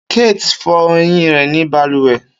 Kate n fọ eyin rẹ ni baluwe.